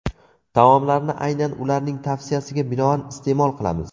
Taomlarni aynan ularning tavsiyasiga binoan iste’mol qilamiz.